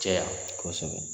Cɛ ya. kɔsɛbɛ